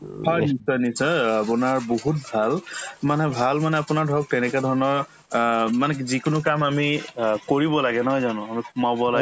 হয়, নিশ্চয় নিশ্চয় অ আপোনাৰ বহুত ভাল মানে ভাল মানে আপোনাৰ ধৰক ধৰণৰ অ মানে যিকোনো কাম আমি অ কৰিব লাগে নহয় জানো সোমাব